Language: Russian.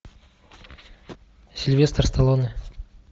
сильвестр сталлоне